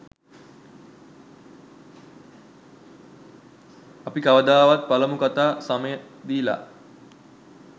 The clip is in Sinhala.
අපි කවදාවත් පළමු කතා සමය දීලා